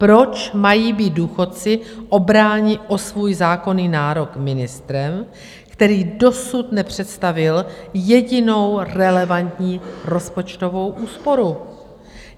Proč mají být důchodci obráni o svůj zákonný nárok ministrem, který dosud nepředstavil jedinou relevantní rozpočtovou úsporu?